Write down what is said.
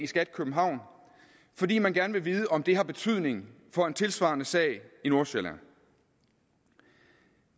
skat københavn fordi man gerne vil vide om det har betydning for en tilsvarende sag i nordsjælland